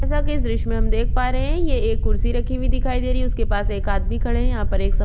जैसा की इस दृश्य में हम देख पा रहै है ये एक कुर्सी रखी हुई दिखाई दे रही है उसके पास एक आदमी खड़े है यहाँ पर एक स --